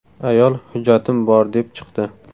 Ayol ‘hujjatim bor’, deb chiqdi.